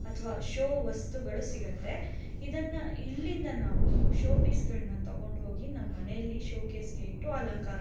ಅಥವಾ ಶೋ ವಸ್ತುಗಳು ಸಿಗುತ್ತೆ ಇದನ್ನ ಇಲ್ಲಿಂದ ನಾವು ಶೋ ಪೇಯಿಸ್ ಗಳನ್ನ ತಗೊಂಡು ಹೋಗಿ ನಮ್ಮ ಮನೆಯಲ್ಲಿ ಷೋಕಾಸ್ ಗೆ ಇಟ್ಟು ಅಲಂಕಾರ --